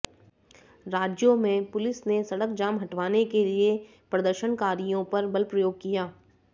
राज्यों में पुलिस ने सड़क जाम हटवाने के लिए प्रदर्शनकारियों पर बल प्रयोग किया